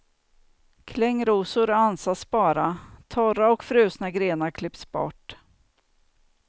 Klängrosor ansas bara, torra och frusna grenar klipps bort.